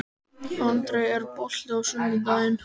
André, er bolti á sunnudaginn?